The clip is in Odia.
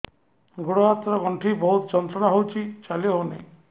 ଗୋଡ଼ ହାତ ର ଗଣ୍ଠି ବହୁତ ଯନ୍ତ୍ରଣା ହଉଛି ଚାଲି ହଉନାହିଁ